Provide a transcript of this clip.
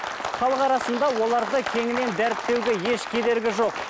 халық арасында оларды кеңінен дәріптеуге еш кедергі жоқ